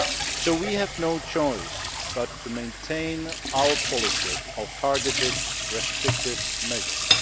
So we have no choice but to maintain our policy of targeted, restrictive measures.